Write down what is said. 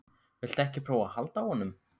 Viltu ekki prófa að halda á honum?